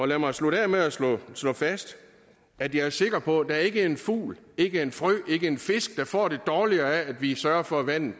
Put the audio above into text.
lad mig slutte af med at slå fast at jeg er sikker på at der ikke er en fugl ikke er en frø ikke er en fisk der får det dårligere af at vi sørger for at vandet